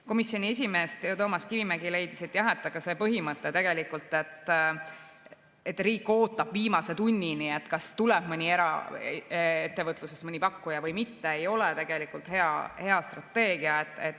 Komisjoni esimees Toomas Kivimägi leidis, et see põhimõte, et riik ootab viimase tunnini, kas tuleb eraettevõtlusest mõni pakkuja või mitte, ei ole tegelikult hea strateegia.